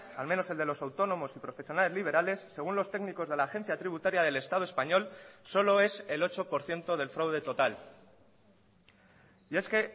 al menos el de los autónomos y profesionales liberales según los técnicos de la agencia tributaria del estado español solo es el ocho por ciento del fraude total y es que